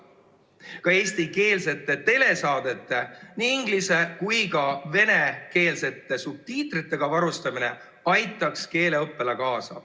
Ka eestikeelsete telesaadete nii inglis‑ kui ka venekeelsete subtiitritega varustamine aitaks keeleõppele kaasa.